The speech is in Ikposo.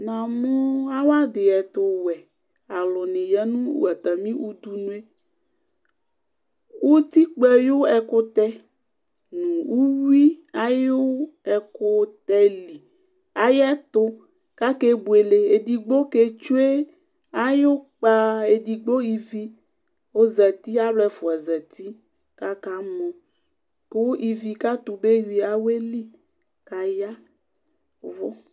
Namu awadí ɛtuwɛni aya nu atani udunu utikpa ayu ɛkutɛ nu uyui ayu ɛkutɛ li ayɛtu kakebuele edigbo ketsue ayukpa edigbo ivi ɔzati alu ɛfua zati kakamɔ ku ivi Ketuba awuɛli kayavu